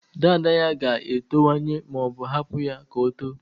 Dada ya ga-etowanye ma ọ hapụ ya ka o too.